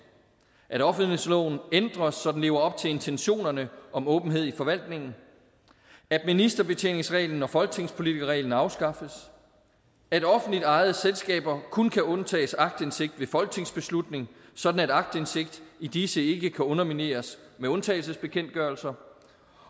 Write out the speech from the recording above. • at offentlighedsloven ændres så den lever op til intentionerne om åbenhed i forvaltningen • at ministerbetjeningsreglen og folketingspolitikerreglen afskaffes • at offentligt ejede selskaber kun kan undtages aktindsigt ved folketingsbeslutning sådan at aktindsigt i disse ikke kan undermineres med undtagelsesbekendtgørelser